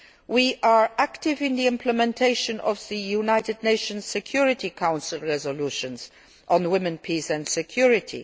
We are active in the implementation of the United Nations Security Council resolutions on women, peace and security.